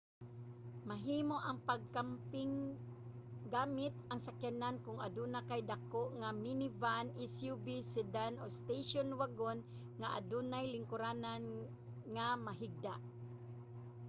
mahimo ang pagkamping gamit ang sakyanan kun aduna kay dako nga minivan suv sedan o station wagon nga adunay lingkuranan nga mahigda